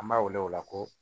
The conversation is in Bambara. An b'a wele o la ko